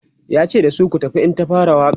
yace da su"ku tafa in ta fara Waƙa!"